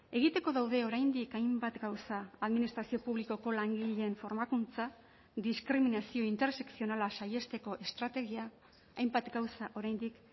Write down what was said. egiteko daude oraindik hainbat gauza administrazio publikoko langileen formakuntza diskriminazio intersekzionala saihesteko estrategia hainbat gauza oraindik